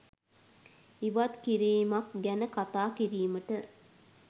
ඉවත්කිරීමක් ගැන කතා කිරීමට